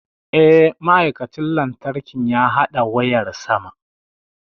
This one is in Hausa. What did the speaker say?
Eh, ma'aikacin lantarkin ya haɗa wayar sama.